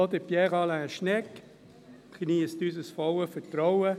Auch Pierre Alain Schnegg geniesst unser volles Vertrauen.